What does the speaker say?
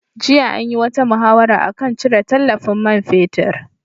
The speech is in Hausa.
Jiya an yi wata muhawara a kan cire tallafin man fetur.